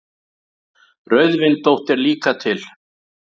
Rauðvindótt er líka til.